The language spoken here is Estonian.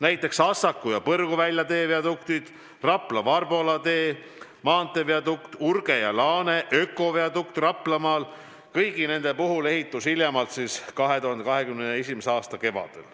Näiteks Assaku ja Põrguvälja tee viaduktid, Rapla–Varbola tee maanteeviadukt, Urge ja Laane ökodukt Raplamaal – kõigi nende puhul algab ehitus hiljemalt 2021. aasta kevadel.